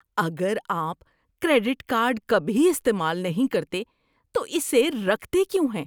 اگر آپ credit card کبھی استعمال نہیں کرتے تو اسے رکھتے کیوں ہیں؟